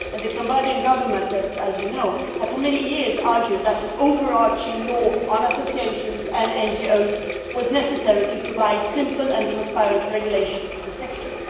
The Cambodian Government has for many years argued that an overarching law on associations and NGOs was necessary to provide simple and transparent regulation to the sector.